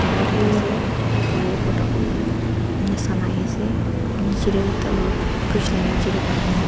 thaki ase wire borta hoine ene sun ahi ase niche te ekta bridge la niche te pani thake.